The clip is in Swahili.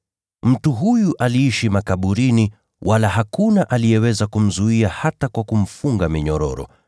Mtu huyu aliishi makaburini, wala hakuna aliyeweza kumzuia hata kwa kumfunga minyororo.